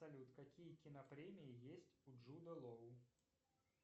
салют какие кинопремии есть у джуда лоу